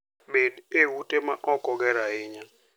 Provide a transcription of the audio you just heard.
Bed e ute ma ok oger ahinya.